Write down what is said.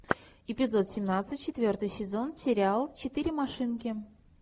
эпизод семнадцать четвертый сезон сериал четыре машинки